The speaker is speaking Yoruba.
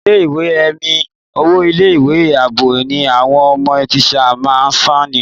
Ní ilé ìwé è mi, owó ilé ìwé àbọ̀ ni àwọn ọmọ tíṣà máa ń sane.